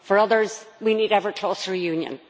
for others we need ever closer union.